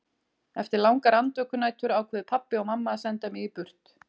Eftir langar andvökunætur ákváðu pabbi og mamma að senda mig burt.